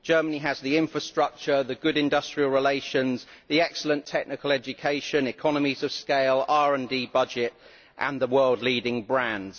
Germany has the infrastructure, the good industrial relations, the excellent technical education, economies of scale, RD budget and the world's leading brands